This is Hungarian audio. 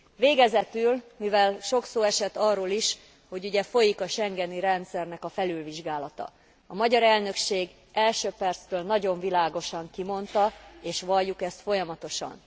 Végezetül, mivel sok szó esett arról is, hogy ugye folyik a schengeni rendszernek a felülvizsgálata, a magyar elnökség első perctől nagyon világosan kimondta, és valljuk ezt folyamatosan.